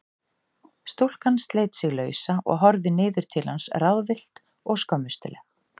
Stúlkan sleit sig lausa og horfði niður til hans ráðvillt og skömmustuleg.